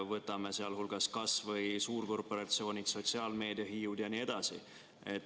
Võtame sealhulgas kas või suurkorporatsioonid, sotsiaalmeediahiiud jne.